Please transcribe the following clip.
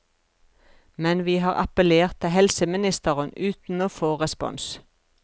Men vi har appellert til helseministeren uten å få respons.